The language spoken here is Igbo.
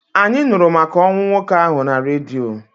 Anyị nụrụ maka ọnwụ nwoke ahụ na redio.